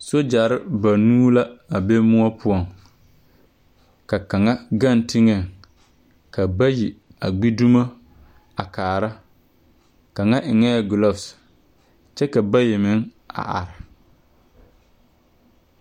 Sogyere ba nuu la, a be moɔ poɔŋ, ka kaŋɛ gaŋ teŋɛŋ, ka bayi a gbedumo a kara, kaŋa eŋɛɛ globs, kyɛ ka bayi meŋ are